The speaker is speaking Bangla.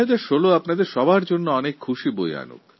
২০১৬ আপনাদের সবার জন্য অনেক খুশি নিয়ে আসুক